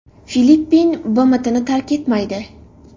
Filippin BMTni tark etmaydi.